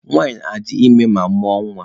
Nwanyị na-adị ime ma mụọ nwa.